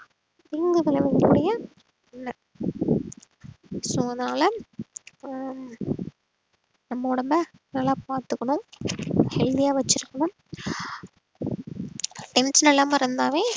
இல்லை so அதனால ஆஹ் நம்ம உடம்பை நல்லா பார்த்துக்கணும் healthy ஆ வச்சிருக்கணும் tension இல்லாம இருந்தாவே